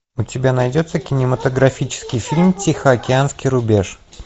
у тебя найдется кинематографический фильм тихоокеанский рубеж